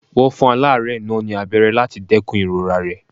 Wọ́n fún aláárẹ̀ náà ní abẹ́rẹ́ láti dẹ́kun ìrora rẹ̀.